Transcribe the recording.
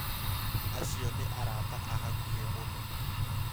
Acio nĩ arata a hakuhĩ mũno